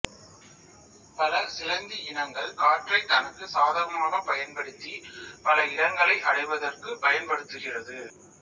பல சிலந்தி இனங்கள் காற்றை தனக்கு சாதகமாகப் பயன்படுத்தி பல இடங்களை அடைவதற்குப் பயன்படுத்துகிறது